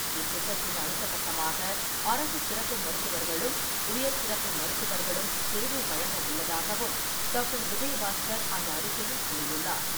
இத்திட்டத்தின் அடுத்த கட்டமாக அரசு சிறப்பு மருத்துவர்களும், உயர் சிறப்பு மருத்துவர்களும் சேவை வழங்க உள்ளதாகவும் டாக்டர் விஜயபாஸ்கர் அந்த அறிக்கையில் கூறியுள்ளார்.